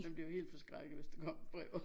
Man blev helt forskrækket hvis der kom et brev